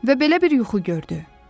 Və belə bir yuxu gördü.